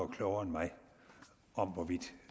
klogere end mig om hvorvidt